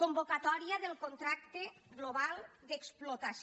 con·vocatòria del contracte global d’explotació